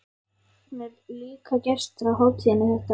Hún er líka gestur á hátíðinni þetta árið.